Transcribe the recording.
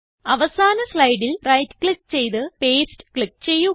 അവസാന സ്ലൈഡിൽ right click ചെയ്ത് പാസ്തെ ക്ലിക്ക് ചെയ്യുക